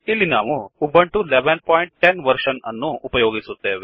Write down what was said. ಇಲ್ಲಿ ನಾವು Ubuntu 1110 version ಅನ್ನು ಉಪಯೋಗಿಸುತ್ತೆವೆ